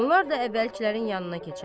Onlar da əvvəlkilərin yanına keçər.